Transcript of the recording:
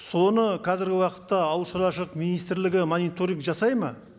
соны қазіргі уақытта ауыл шаруашылық министрлігі мониторинг жасайды ма